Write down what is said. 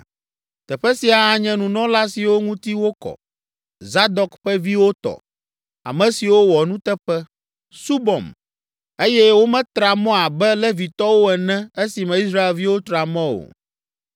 Teƒe sia anye nunɔla siwo ŋuti wokɔ, Zadok ƒe viwo tɔ, ame siwo wɔ nuteƒe, subɔm, eye wometra mɔ abe Levitɔwo ene esime Israelviwo tra mɔ o.